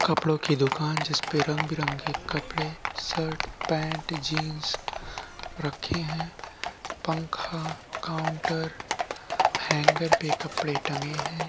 कपड़ो की दुकान जिस पे रंग-बिरंगे कपड़े शर्ट पेंट जिन्स रखे हैं पंखा काउंटर हैंगर पे कपड़े टंगे हैं।